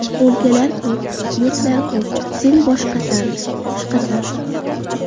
O‘lkalar ko‘p, yurtlar ko‘p, Sen boshqasan, boshqasan.